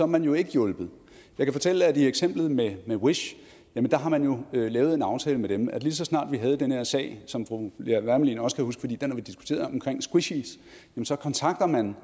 man jo ikke hjulpet jeg kan fortælle at hvad angår eksemplet med wish har man jo lavet en aftale med dem lige så snart vi havde den her sag som fru lea wermelin også kan huske for den har vi diskuteret om squishies så kontaktede man